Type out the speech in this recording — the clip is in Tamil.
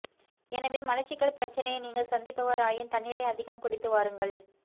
எனவே மலச்சிக்கல் பிரச்சனையை நீங்கள் சந்திப்பவராயின் தண்ணீரை அதிகம் குடித்து வாருங்கள்